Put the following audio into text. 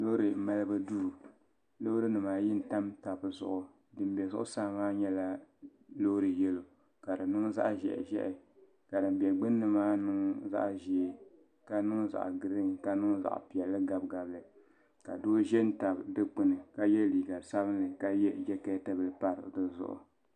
Loori malibu duu loori nima ayi n tam taba zuɣu din be zuɣusaa maa nyɛla Loori yelo ka di niŋ zaɣa ʒehi ʒehi ka din be gbini maa niŋ zaɣa ʒee ka niŋ zaɣa girin ka niŋ zaɣa piɛlli gabi gabi ka doo ʒɛn tabi dikpini ka ye liiga sabinli la ye jeketi bila pa dizuɣu.